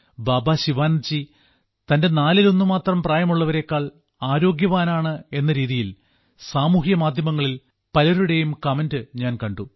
ബാബാ ശിവാനന്ദ്ജി തന്റെ നാലിലൊന്ന് മാത്രം പ്രായമുള്ളവരേക്കാൾ ആരോഗ്യവാനാണ് എന്ന രീതിയിൽ സാമൂഹ്യമാധ്യമങ്ങളിൽ പല ആളുകളുടെയും കമന്റ് ഞാൻ കണ്ടു